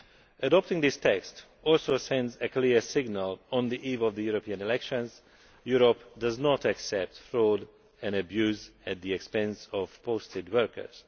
Adopting this text also sends a clear signal, on the eve of the European elections, that Europe does not accept fraud and abuse at the expense of posted workers.